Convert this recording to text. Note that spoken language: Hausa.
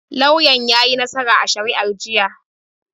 Lauyan yayi nassara a shari'ar jiya.